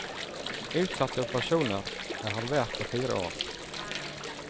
Utsatte operasjoner er halvert på fire år.